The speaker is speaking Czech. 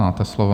Máte slovo.